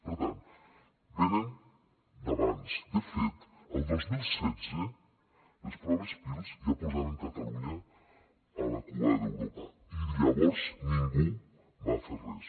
per tant venen d’abans de fet el dos mil setze les proves pirls ja posaven catalunya a la cua d’europa i llavors ningú va fer res